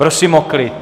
Prosím o klid!